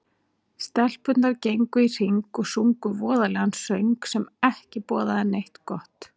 Stelpurnar gengu í hring og sungu voðalegan söng, sem ekki boðaði neitt gott